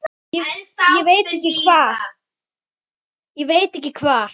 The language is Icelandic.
Ég veit ekki hvað